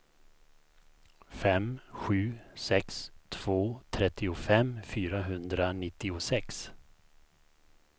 fem sju sex två trettiofem fyrahundranittiosex